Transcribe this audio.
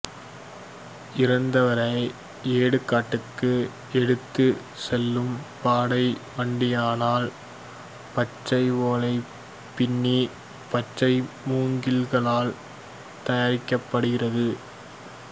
இறந்தவரை இடுகாட்டுக்கு எடுத்துச் செல்லும் பாடை வெட்டியானால் பச்சை ஓலை பின்னி பச்சை மூங்கில்களால் தயாரிக்கப்படுகிறது